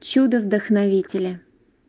чудо вдохновители